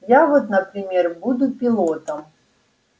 я вот например буду пилотом